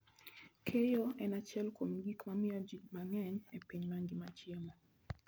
Keyo en achiel kuom gik mamiyo ji mang'eny e piny mangima chiemo.